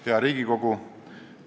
Hea Riigikogu!